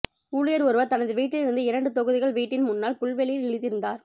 ஊழியர் ஒருவர் தனது வீட்டிலிருந்து இரண்டு தொகுதிகள் வீட்டின் முன்னால் புல்வெளியில் விழித்திருந்தார்